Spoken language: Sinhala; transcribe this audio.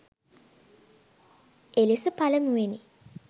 එළෙස පළමුවැනි